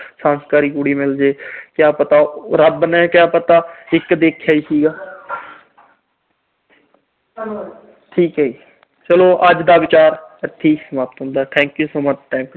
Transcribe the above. ਸੰਸਕਾਰੀ ਕੁੜੀ ਮਿਲ ਜੇ। ਕਿਆ ਪਤਾ ਰੱਬ ਨੇ ਕਿਆ ਪਤਾ ਇੱਕ ਦੇਖਿਆ ਈ ਸੀਗਾ। ਠੀਕ ਆ ਜੀ। ਚਲੋ ਅੱਜ ਦਾ ਵਿਚਾਰ ਇੱਥੇ ਹੀ ਸਮਾਪਤ ਹੁੰਦਾ। thank you so much